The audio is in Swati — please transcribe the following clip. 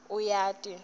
uyati